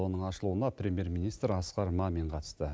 оның ашылуына премьер министр асқар мамин қатысты